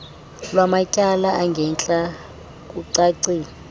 lwamatyala angentla kucacile